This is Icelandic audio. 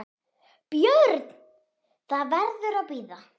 BJÖRN: Það verður að bíða.